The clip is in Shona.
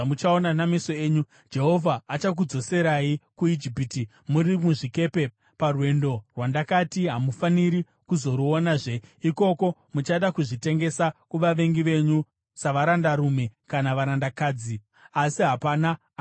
Jehovha achakudzoserai kuIjipiti muri muzvikepe parwendo rwandakati hamufaniri kuzoruonazve. Ikoko muchada kuzvitengesa kuvavengi venyu savarandarume kana varandakadzi, asi hapana angada kukutengai.